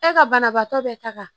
E ka banabaatɔ bɛ taga